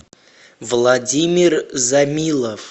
владимир замилов